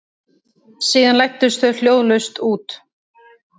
Síðan læddust þau hljóðlaust út.